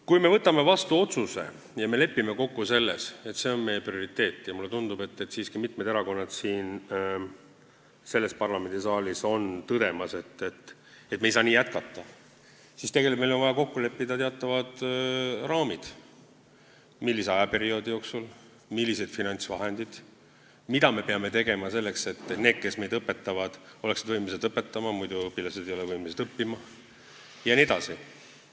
Kui me võtame vastu otsuse ja lepime kokku selles, et see on meie prioriteet – mulle tundub, et mitmed erakonnad siin parlamendisaalis on siiski tõdemas, et me ei saa nii jätkata –, siis on meil vaja kokku leppida teatavad raamid, millise aja jooksul see toimub, millised on finantsvahendid, mida me peame tegema selleks, et need, kes õpetavad, oleksid võimelised õpetama, sest muidu õpilased ei ole võimelised õppima jne.